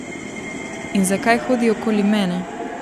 In zakaj hodi okoli mene?